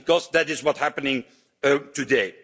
Because that is what's happening today.